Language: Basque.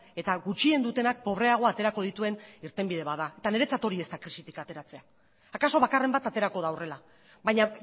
eta gutxien dutenak pobreago aterako dituen irtenbide bat da eta niretzat hori ez da krisitik ateratzea akaso bakarren bat aterako da horrela baina